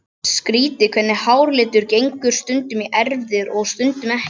Skrýtið hvernig háralitur gengur stundum í erfðir og stundum ekki.